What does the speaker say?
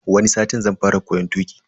Wani satin zan fara koyon tuki.